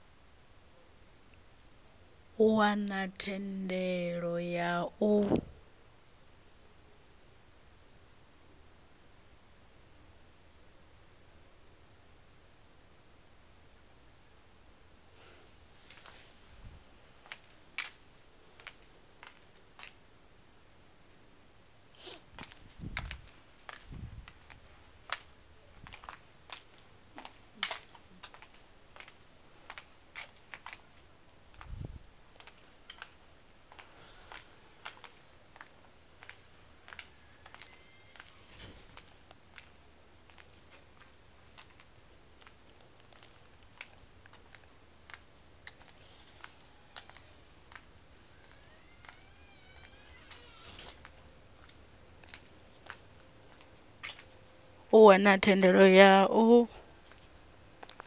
u wana thendelo ya u